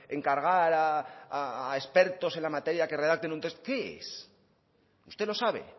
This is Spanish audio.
encargar a expertos en la materia que redacten un texto qué es usted lo sabe